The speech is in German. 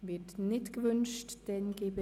– Dies ist ebenfalls nicht der Fall.